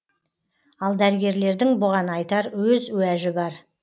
ал дәрігерлердің бұған айтар өз уәжі бар